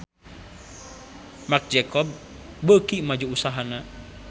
Marc Jacob beuki maju usahana